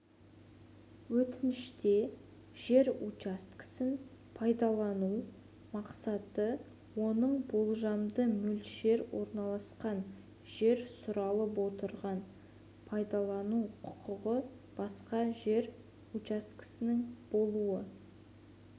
өтініште жер учаскесін пайдалану мақсаты оның болжамды мөлшер орналасқан жер сұралып отырған пайдалану құқығы басқа жер учаскесінің болуы